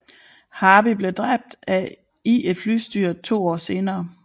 Harbi blev dræbt i et flystyrt to år senere